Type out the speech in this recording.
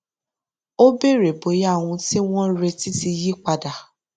ó béèrè bóyá ohun tí wọn ń retí ti yí padà